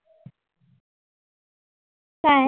काय?